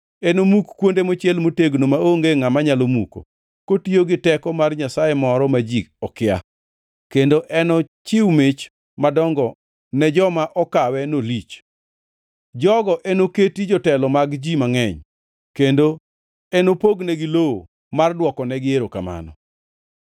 Enomuk kuonde mochiel motegno maonge ngʼama nyalo muko, kotiyo gi teko mar nyasaye moro ma ji okia kendo enochiw mich madongo ne jomo okawe nolich. Jogo enoketi jotelo mag ji mangʼeny kendo enopognegi lowo mar dwokonegi erokamano.